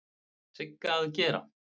Sigga að gera?